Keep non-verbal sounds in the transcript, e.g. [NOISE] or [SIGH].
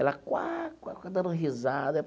Ela [UNINTELLIGIBLE] dando risada.